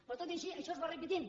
però tot i així això es va repetint